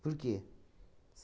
Por quê?